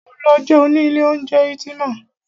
Máa lọ jẹun ní ilé oúnjẹ Ultima.